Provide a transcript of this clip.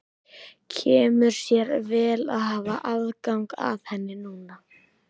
Kemur sér vel að hafa aðgang að henni núna!